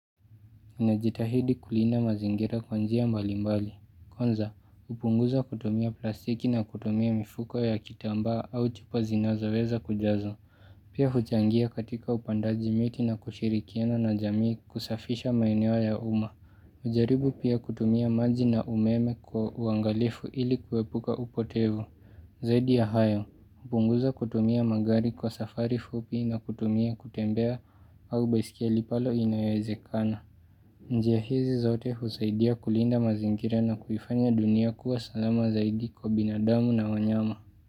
Ninajitahidi kulinda mazingira kwa njia mbali mbali. Kwanza, kupunguza kutumia plastiki na kutumia mifuko ya kitambaa au chupa zinazoweza kujazo. Pia huchangia katika upandaji miti na kushirikiana na jamii kusafisha maeneo ya umma. Kujaribu pia kutumia maji na umeme kwa uangalifu ili kuwepuka upotevu. Zaidi ya hayo, hupunguza kutumia magari kwa safari fupi na kutumia kutembea au baisikeli pale inayewezekana. Njia hizi zote husaidia kulinda mazingira na kuifanya dunia kuwa salama zaidi kwa binadamu na wanyama.